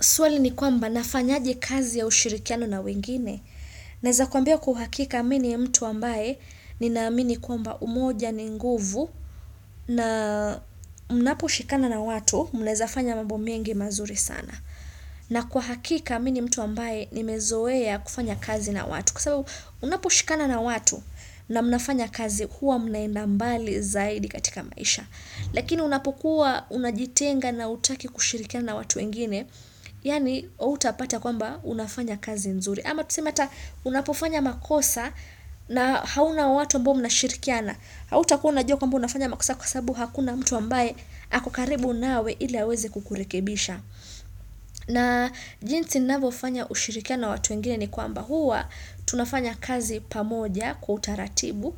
Swali ni kwamba nafanyaje kazi ya ushirikiano na wengine. Naeza kuambia kwa uhakika mi ni mtu ambaye nina amini kwamba umoja ni nguvu na mnapo shikana na watu mnaezafanya mambo mengi mazuri sana. Na kwa hakika mi ni mtu ambaye nimezoea kufanya kazi na watu. Kwa sababu unapo shikana na watu na mnafanya kazi huwa mna enda mbali zaidi katika maisha. Lakini unapo kuwa unajitenga na hutaki kushirikiana na watu wengine. Yaani hautapata kwamba unafanya kazi nzuri ama tuseme ata unapofanya makosa na hauna watu ambao mna shirikiana hautakuwa unajua kwamba unafanya makosa kwa sababu hakuna mtu ambaye ako karibu nawe ili aweze kukurekebisha na jinsi navofanya ushirikiano watu wengine ni kwamba huwa tunafanya kazi pamoja kwa utaratibu